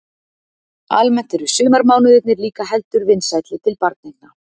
Almennt eru sumarmánuðirnir líka heldur vinsælli til barneigna.